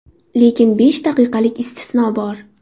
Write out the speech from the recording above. Lekin besh daqiqalik istisno bor.